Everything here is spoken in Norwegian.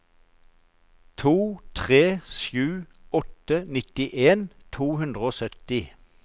to tre sju åtte nittien to hundre og sytti